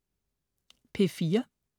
P4: